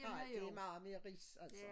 Nej det meget mere ris altså